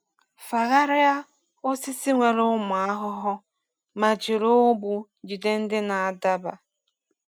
Fagharịa osisi nwere ụmụ ahụhụ ma jiri ụgbụ jide ndị na-adaba.